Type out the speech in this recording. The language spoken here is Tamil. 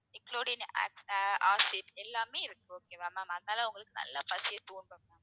eclodine ac~acid எல்லாமே இருக்கு okay வா ma'am அதுனால உங்களுக்கு நல்லா பசிய தூண்டும்